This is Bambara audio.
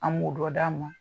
An m'o dɔ d'a ma